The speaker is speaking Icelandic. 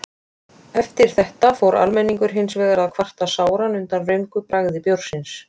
Eftir þetta fór almenningur hins vegar að kvarta sáran undan röngu bragði bjórsins.